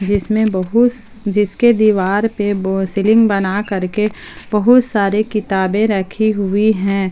जिसमें बहुत जिसके दीवार पे सीलिंग बना करके बहुत सारी किताबें रखी हुई हैं।